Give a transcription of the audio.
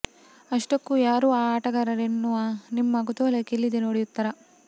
ಅಷ್ಟಕ್ಕೂ ಯಾರು ಆ ಆಟಗಾರರು ಎನ್ನುವ ನಿಮ್ಮ ಕುತೂಹಲಕ್ಕೆ ಇಲ್ಲಿದೆ ನೋಡಿ ಉತ್ತರ